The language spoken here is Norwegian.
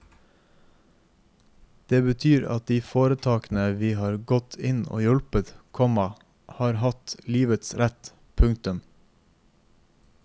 Det betyr at de foretakene vi har gått inn og hjulpet, komma har hatt livets rett. punktum